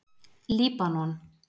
Líbanon